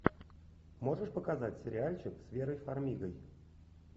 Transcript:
можешь показать сериальчик с верой фармигой